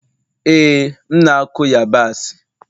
ee, m na-akụ yabasị